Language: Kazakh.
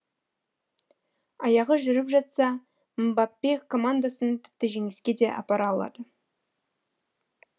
аяғы жүріп жатса мбаппе командасын тіпті жеңіске де апара алады